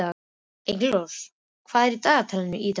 Engilrós, hvað er í dagatalinu í dag?